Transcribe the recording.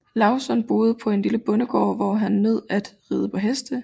Lauzon boede på en lille bondegård hvor han nød at ride på heste